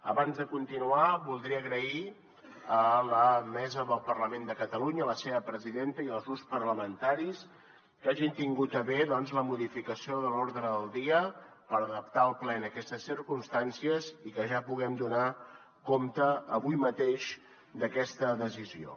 abans de continuar voldria agrair a la mesa del parlament de catalunya a la seva presidenta i als grups parlamentaris que hagin tingut a bé doncs la modificació de l’ordre del dia per adaptar el ple en aquestes circumstàncies i que ja puguem donar compte avui mateix d’aquesta decisió